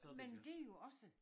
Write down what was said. Men det jo også